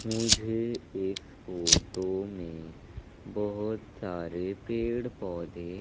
मुझे इस फोटो में बहोत सारे पेड़ पौधे--